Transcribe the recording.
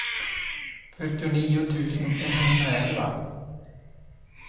fyrtionio tusen etthundraelva